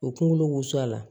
O kunkolo wusu a la